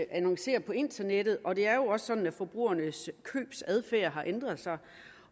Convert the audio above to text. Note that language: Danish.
annoncerer på internettet og det er jo også sådan at forbrugernes købsadfærd har ændret sig